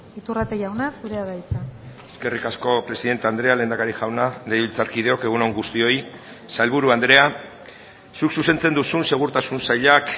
iturrate jauna zurea da hitza eskerrik asko presidente andrea lehendakari jauna legebiltzarkideok egun on guztioi sailburu andrea zuk zuzentzen duzun segurtasun sailak